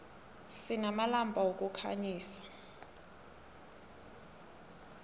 sinamalampa wokukhanyisa